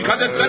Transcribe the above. Diqqət etsənə!